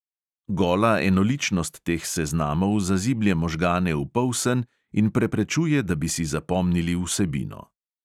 Gola enoličnost teh seznamov zaziblje možgane v polsen in preprečuje, da bi si zapomnili vsebino.